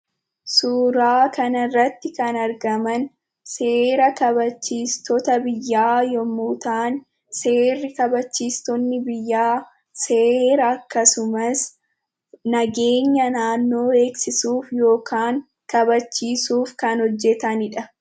Suuraa kanarratti kan argaman seera kabachiistota biyyaa, yommuu ta'an, seera kabachiistonni biyyaa seera akkasumas nageenya naannoo eegsisuuf yookaan kabachiisuuf kan hojjatanidha.